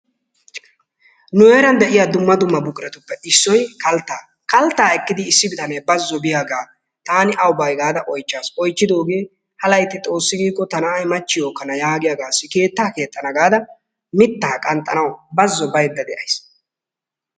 Nu heeran de'iyaa dumma dumma buquratuppe issoy kalttaa. Kalttaa ekkidi issi bitanee bazzo biyaagaa taani awu bay gaada oychchaas. Oychidoogee ha laytti xoossi giikko ta na'ay machchiyoo ekkana yaagiyaagassi keettaa keexxana gaada mittaa qanxxanawu baazzo baydda de'ays.